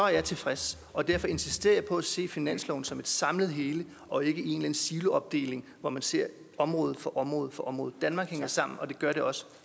jeg tilfreds og derfor insisterer jeg på at se finansloven som et samlet hele og ikke i en siloopdeling hvor man ser område for område for område danmark hænger sammen og det gør det også